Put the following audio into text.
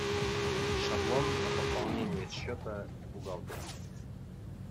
шаблон на пополнение счета бухгалтера